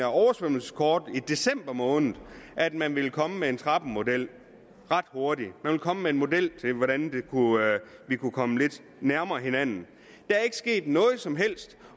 oversvømmelseskort i december måned at man ville komme med en trappemodel ret hurtigt man ville komme med en model til hvordan vi kunne komme lidt nærmere hinanden der er ikke sket noget som helst